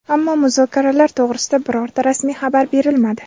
ammo muzokaralar to‘g‘risida birorta rasmiy xabar berilmadi.